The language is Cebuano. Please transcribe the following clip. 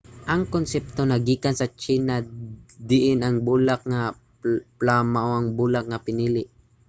ang konsepto naggikan sa tsina diin ang bulak nga plum mao ang bulak nga pinili